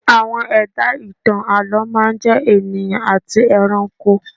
Àwọn ẹ̀dá ìtàn àlọ́ máa ń jẹ́ ènìyàn àti ẹranko